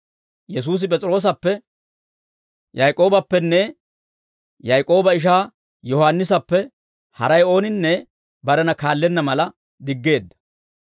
Yesuusi P'es'iroosappe, Yaak'oobappenne Yaak'ooba ishaa Yohaannisappe haray ooninne barena kaallenna mala diggeedda.